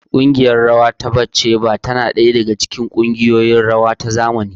ƙungiyar rawa ta Batsheva tana ɗaya daga cikin shahararrun kungiyoyin rawa na zamani.